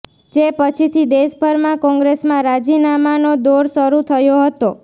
જે પછીથી દેશભરમાં કોંગ્રેસમાં રાજીનામાનો દોર શરૂ થયો હતો